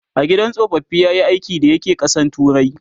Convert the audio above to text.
a gidan tsofaffi yayi aiki da ya ke ƙasan turai?